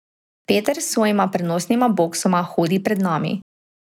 Peter s svojima prenosnima boksoma hodi pred nami.